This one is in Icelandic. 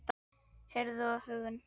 Heiður og huggun.